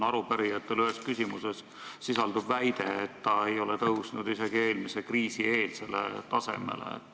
Arupärijate ühes küsimuses sisaldub väide, et reservi tase ei ole tõusnud isegi eelmise kriisi eelsele tasemele.